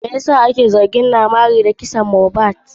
Me yasa naira marley ake zargin shi da sa hanunsa a kisan mohbad?